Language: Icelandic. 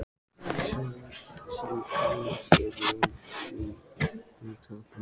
Sem kannski er von, því hún tapaði málinu.